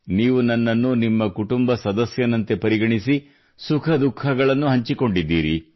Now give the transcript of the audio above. ನೀವು ನನ್ನನ್ನು ನಿಮ್ಮ ಕುಟುಂಬ ಸದಸ್ಯನಂತೆ ಪರಿಗಣಿಸಿ ಸುಖ ದುಖಃಗಳನ್ನು ಹಂಚಿಕೊಂಡಿದ್ದೀರಿ